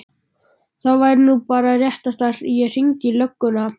Það væri nú bara réttast að ég hringdi í lögregluna.